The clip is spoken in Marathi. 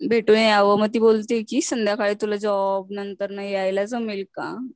भेटून यावं म ती बोलते कि संध्याकाळी तुला जॉब नंतरन यायला जमेल का?